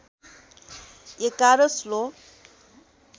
११ श्लोक